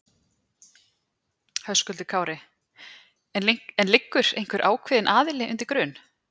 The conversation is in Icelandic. Höskuldur Kári: En liggur einhver ákveðin aðili undir grun?